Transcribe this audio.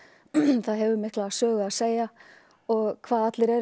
það hefur mikla sögu að segja og hvað allir eru